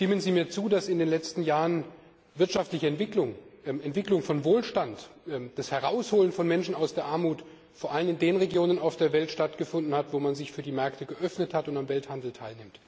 Stimmen Sie mir zu, dass in den letzten Jahren wirtschaftliche Entwicklung, die Entwicklung von Wohlstand und das Herausholen von Menschen aus der Armut vor allem in den Regionen der Welt stattgefunden hat, wo man sich für die Märkte geöffnet hat und am Welthandel teilnimmt?